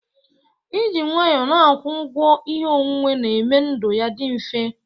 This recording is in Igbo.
Ị jị nwanyọ n'akwọ ụgwọ ihe onwuwe na-eme ndụ ya dị mfe.